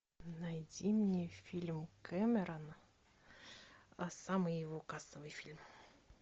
найди мне фильм кэмерона самый его кассовый фильм